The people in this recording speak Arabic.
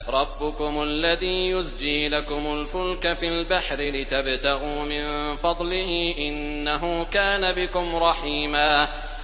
رَّبُّكُمُ الَّذِي يُزْجِي لَكُمُ الْفُلْكَ فِي الْبَحْرِ لِتَبْتَغُوا مِن فَضْلِهِ ۚ إِنَّهُ كَانَ بِكُمْ رَحِيمًا